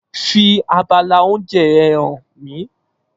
Fi abala oúnjẹ hàn mí!